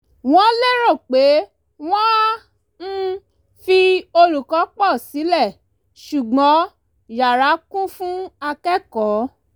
wọ́n lérò pé wọn á um fi olùkọ́ pọ̀ sílẹ̀ ṣùgbọ́n yara kún fún akẹ́kọ̀ọ́